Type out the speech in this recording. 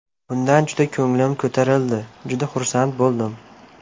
Bundan juda ko‘nglim ko‘tarildi, juda xursand bo‘ldim.